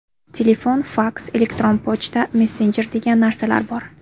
Telefon, faks, elektron pochta, messenjer degan narsalar bor.